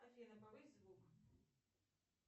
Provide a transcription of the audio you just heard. афина повысь звук